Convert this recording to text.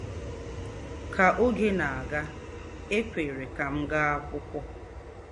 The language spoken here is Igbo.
Ka oge na-aga, e kwere ka m gaa akwụkwọ.